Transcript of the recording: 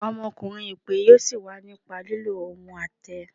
Ọmọkunrin ipe yọọ sin wa nípa lilo ohún atẹ.